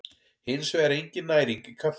Hins vegar er engin næring í kaffi.